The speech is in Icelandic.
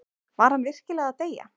Var hann virkilega að deyja?